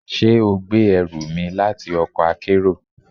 Ṣe o gbe ẹru mi lati ọkọ akero?